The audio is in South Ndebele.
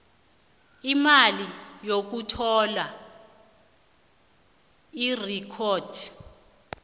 imali yokuthola irekhodi